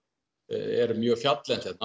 er mjög fjalllent hérna